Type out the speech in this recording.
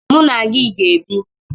Mụ na gị ga-ebi.